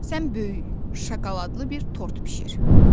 Sən böyük şokoladlı bir tort bişir.